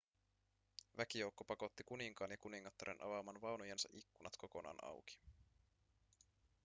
väkijoukko pakotti kuninkaan ja kuningattaren avaamaan vaunujensa ikkunat kokonaan auki